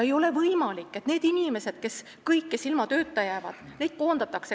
Ei ole võimalik, et kõik need inimesed, kes koondatakse, ilma tööta jäävad.